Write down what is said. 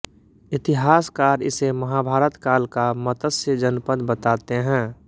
इतिहासकार इसे महाभारत काल का मत्स्य जनपद बताते हैं